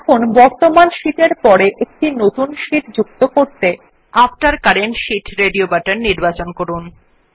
এখন বর্তমান শীট এর পর একটি নতুন শীট যুক্ত করতে রেডিও বাটন এ আফতের কারেন্ট শীট নির্বাচন করুন